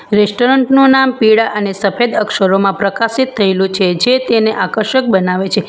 Restaurant નું નામ પીળા અને સફેદ અક્ષરોમાં પ્રકાશિત થયેલું છે જે તેને આકર્ષક બનાવે છે.